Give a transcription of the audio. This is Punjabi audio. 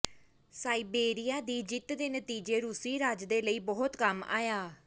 ਸਾਇਬੇਰੀਆ ਦੀ ਜਿੱਤ ਦੇ ਨਤੀਜੇ ਰੂਸੀ ਰਾਜ ਦੇ ਲਈ ਬਹੁਤ ਕੰਮ ਆਇਆ